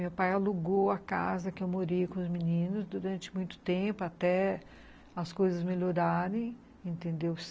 Meu pai alugou a casa que eu morei com os meninos durante muito tempo até as coisas melhorarem, entendeu?